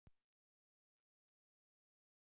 Kem til þín.